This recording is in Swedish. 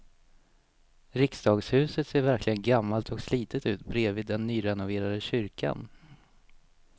Riksdagshuset ser verkligen gammalt och slitet ut bredvid den nyrenoverade kyrkan.